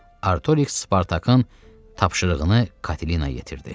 Artoriks Spartakın tapşırığını Katinaya yetirdi.